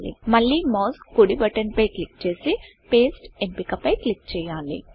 మళ్ళి మౌస్ కుడి బటన్ పై క్లిక్ చేసి Pasteపేస్ట్ ఎంపిక పై క్లిక్ చేయాలి